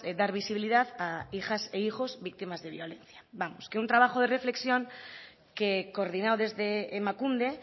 dar visibilidad a hijas e hijos víctimas de violencia vamos que un trabajo de reflexión que coordinado desde emakunde